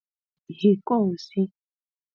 Yikosi.